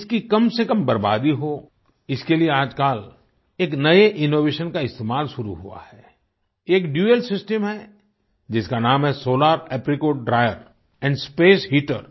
इसकी कमसेकम बर्बादी हो इसके लिए आजकल एक नए इनोवेशन का इस्तेमाल शुरू हुआ है एक दुआल सिस्टम है जिसका नाम है solar apricot dryer and space heater